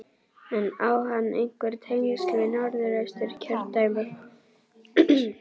En á hann einhver tengsl við Norðausturkjördæmi?